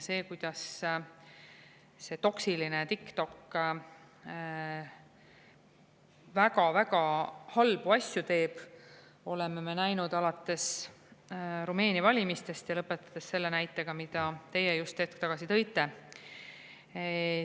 Seda, kuidas see toksiline TikTok väga-väga halbu asju teeb, oleme me näinud alates Rumeenia valimistest ja lõpetades selle näitega, mille te just hetk tagasi tõite.